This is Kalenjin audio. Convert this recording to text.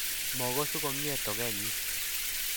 Mogosu komie tugenyii